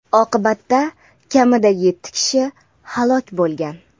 Oqibatda kamida yetti kishi halok bo‘lgan.